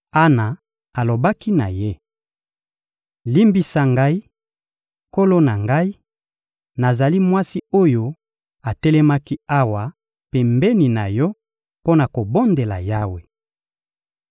Ana alobaki na ye: — Limbisa ngai, nkolo na ngai; nazali mwasi oyo atelemaki awa pembeni na yo mpo na kobondela Yawe.